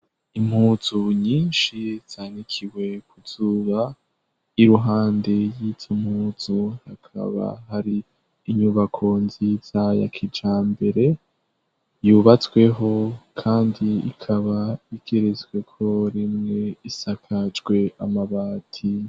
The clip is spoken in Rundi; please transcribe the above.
Impuzu nyinshi zanikiwe kuzuba i ruhande y'izaumpuzu hakaba hari inyubako nziza yakija mbere yubatsweho, kandi ikaba igerezweko rimwe isakajwe amabati.